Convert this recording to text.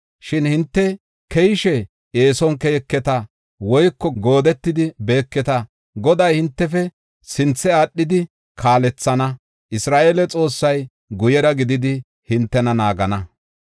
Shin hinte keyishe eeson keyeketa; woyko goodetidi beeketa. Goday hintefe sinthe aadhidi kaalethana; Isra7eele Xoossay guyera gididi hintena naagana.